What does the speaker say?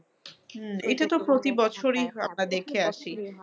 হম এটাতো প্রতি বছরই আমরা দেখে আসি।